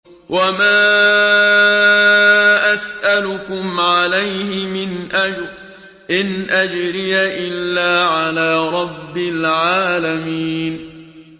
وَمَا أَسْأَلُكُمْ عَلَيْهِ مِنْ أَجْرٍ ۖ إِنْ أَجْرِيَ إِلَّا عَلَىٰ رَبِّ الْعَالَمِينَ